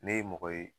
Ne ye mɔgɔ ye